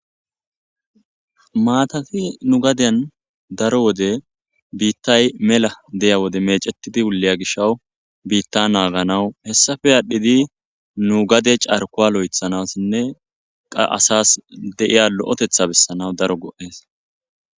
Mathathi nu gadiyan darro wode bithay mella diyya wode meceththidi wullaya gishawu biththa nagganawu hessappe adhidi nu gade carkuwa loo'thanassine qa asses dee'a loo'ththatha besanawu darro goo'ess.